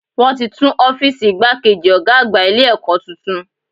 Wọ́n ti tún Ófììsì igbákejì Ọ̀gá àgbà Ilé ẹ̀kọ́ tuntun